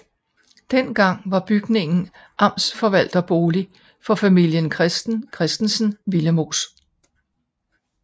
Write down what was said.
Den gang var bygningen amtsforvalterbolig for familien Christen Christensen Willemoes